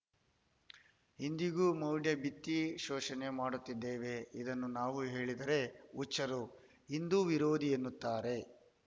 ಇಂದಿಗೂ ಮೌಢ್ಯ ಬಿತ್ತಿ ಶೋಷಣೆ ಮಾಡುತ್ತಿದ್ದೇವೆ ಇದನ್ನು ನಾವು ಹೇಳಿದರೆ ಹುಚ್ಚರು ಹಿಂದೂ ವಿರೋಧಿ ಎನ್ನುತ್ತಾರೆ